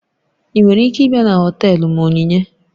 Ị nwere ike ịbịa na họtelu m Onyinye?